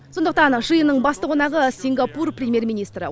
сондықтан жиынның басты қонағы сингапур премьер министрі